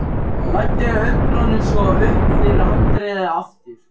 Læddi augunum svo upp fyrir handriðið aftur.